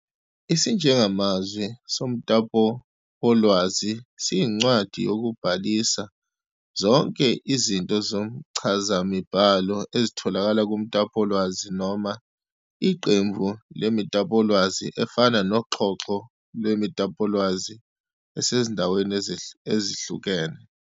Isijengamazwi somtapowolwazi siyincwadi yokubhalisa zonke izinto zomchazamibhalo ezitholakala kumtapolwazi noma iqembu lemitapolwazi, efana noxhoxho lwemitapolwazi esezindaweni ezihlukene.